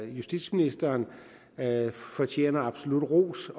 justitsministeren fortjener absolut ros